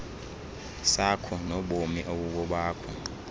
sakho nobomi obubobakho